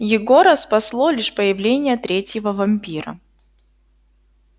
егора спасло лишь появление третьего вампира